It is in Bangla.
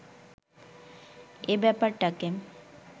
এ ব্যাপারটাকে